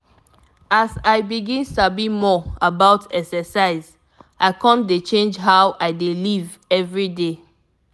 as i begin sabi more about exercise i come dey change how i dey live every day.